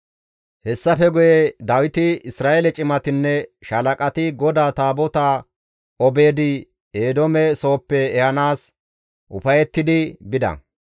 Hessafe guye Dawiti, Isra7eele cimatinne shaalaqati GODAA Taabotaa Obeed-Eedoome sooppe ehanaas ufayettidi bida.